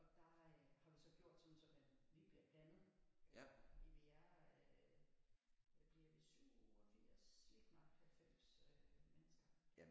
Og der har vi så gjort sådan så man lige bliver blandet fordi vi er hvad bliver det 87 lige knap 90 øh mennesker